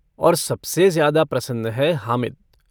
और सबसे ज्यादा प्रसन्न है हामिद।